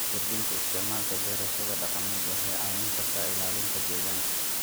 Kordhinta isticmaalka beerashada dhaqameed waxay caawin kartaa ilaalinta deegaanka.